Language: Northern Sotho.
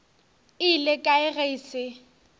ile kae ge e se